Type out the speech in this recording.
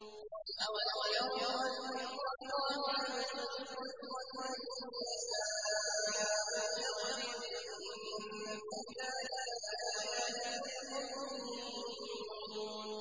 أَوَلَمْ يَرَوْا أَنَّ اللَّهَ يَبْسُطُ الرِّزْقَ لِمَن يَشَاءُ وَيَقْدِرُ ۚ إِنَّ فِي ذَٰلِكَ لَآيَاتٍ لِّقَوْمٍ يُؤْمِنُونَ